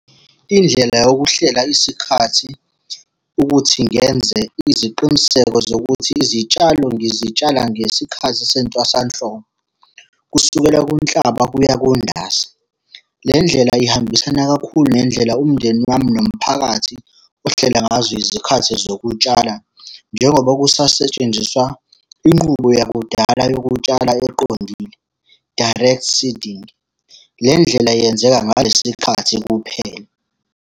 Indlela yokuhlela isikhathi, ukuthi ngenze iziqiniseko zokuthi izitshalo ngizitshala ngesikhathi sentwasahlobo, kusukela kuNhlaba kuya kuNdasa. Le ndlela ihambisana kakhulu nendlela umndeni wami nomphakathi ohlela ngazo izikhathi zokutshala njengoba kusasetshenziswa inqubo yakudala yokutshala eqondile, direct seeding. Le ndlela yenzeka ngalesi khathi kuphela.